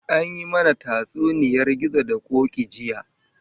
An yi mana tatsuniyar gizo da koki jiya